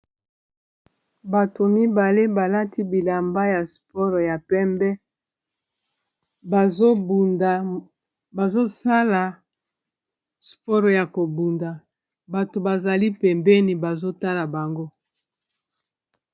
Bato mibale balati bilamba ya sport ya pembe bazobunda bazosala sport ya ko bunda! bato bazali pembeni bazotala bango.